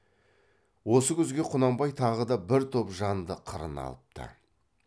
осы күзге құнанбай тағы да бір топ жанды қырына алыпты